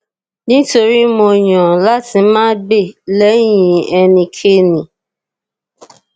nítorí mo yàn láti má gbè lẹyìn ẹnikéni